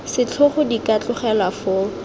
setlhogo di ka tlogelwa foo